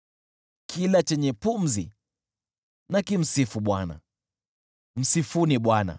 Kila chenye pumzi na kimsifu Bwana . Msifuni Bwana !